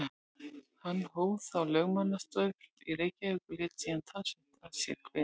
Hann hóf þá lögmannsstörf í Reykjavík og lét síðan talsvert að sér kveða í þjóðmálum.